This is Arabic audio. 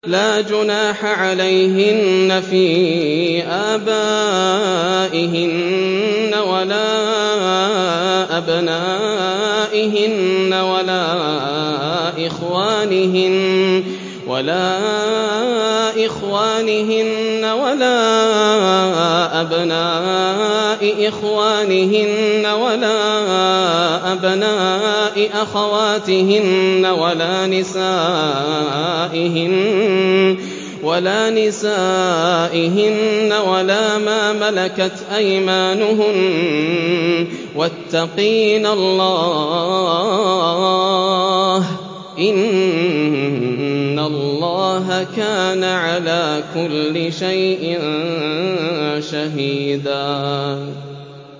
لَّا جُنَاحَ عَلَيْهِنَّ فِي آبَائِهِنَّ وَلَا أَبْنَائِهِنَّ وَلَا إِخْوَانِهِنَّ وَلَا أَبْنَاءِ إِخْوَانِهِنَّ وَلَا أَبْنَاءِ أَخَوَاتِهِنَّ وَلَا نِسَائِهِنَّ وَلَا مَا مَلَكَتْ أَيْمَانُهُنَّ ۗ وَاتَّقِينَ اللَّهَ ۚ إِنَّ اللَّهَ كَانَ عَلَىٰ كُلِّ شَيْءٍ شَهِيدًا